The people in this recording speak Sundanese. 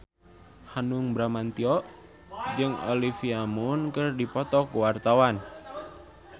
Hanung Bramantyo jeung Olivia Munn keur dipoto ku wartawan